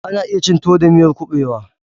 Ana iya cin tuwo da miyar kuɓewa.